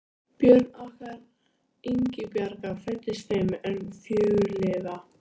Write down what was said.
Börn okkar Ingibjargar fæddust fimm en fjögur lifa.